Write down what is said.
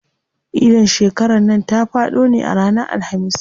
Idin shekaran nan ta faɗo ne a ranar Alhamis.